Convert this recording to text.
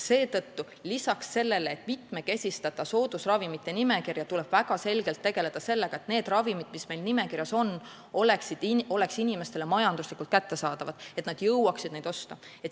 Seetõttu, lisaks sellele, et mitmekesistada soodusravimite nimekirja, tuleb väga selgelt tegeleda sellega, et need ravimid, mis nimekirjas on, oleksid inimestele majanduslikult kättesaadavad, et inimesed jõuaksid neid osta.